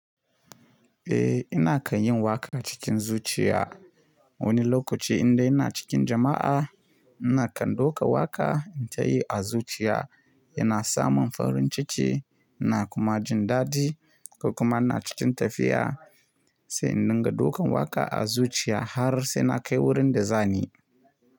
Eh, ina kan yin waka cikin zuciya. Wani lokaci inda ina cikin jama'a, ina kan duka waƙa in tayi a zuciya yana samun farin ciki ina kuma jin daɗi. Kuma ina cikin tafiya sai in dinga dukan waƙa a zuciya har sai na kai wurin da zani.